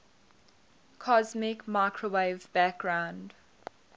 cosmic microwave background